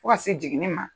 Fo ka se jiginni ma